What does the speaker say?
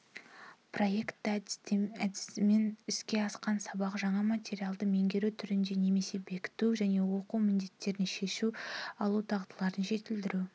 проекті әдісімен іске асқан сабақ жаңа материалды меңгеру түрінде немесе бекіту және оқу міндеттерін шеше алу дағдыларын жетілдіру